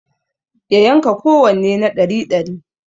Ya yanka kowanne na ɗari dari